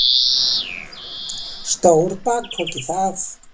Stór bakpoki, það!